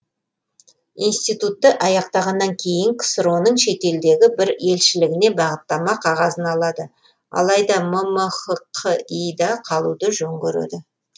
институтты аяқтағаннан кейін ксро ның шетелдегі бір елшілігіне бағыттама қағазын алады алайда ммхқи да қалуды жөн көреді